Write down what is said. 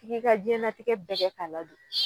Tig'i ka diɲɛnatigɛ bɛɛ kɛ k'a ladon